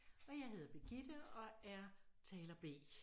Og jeg hedder Birgitte og er taler B